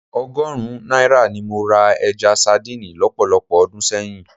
Ọgọ́rùn-ún náírà ni mo ra ẹja sadíìnì lọ́pọ̀lọpọ̀ ọdún sẹ́yìn